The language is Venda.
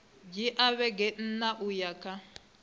dzhia vhege nṋa uya kha